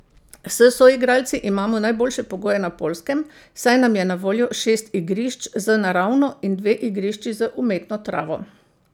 S soigralci imamo najboljše pogoje na Poljskem, saj nam je na voljo šest igrišč z naravno in dve igrišči z umetno travo.